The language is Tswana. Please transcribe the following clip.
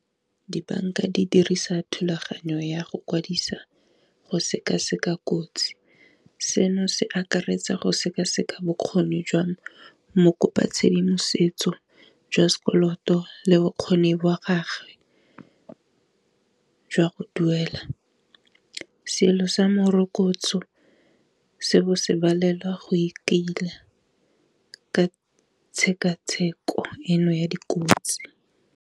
Di-banka di dirisa thulaganyo ya go kwadisa go sekaseka kotsi, seno se akaretsa go sekaseka bokgoni jwa mo kopa tshedimosetso jwa sekoloto le bokgoni jwa gagwe jwa go duela, selo sa morokotso seo se balelwa go itila ka tshekatsheko eno ya dikotsi.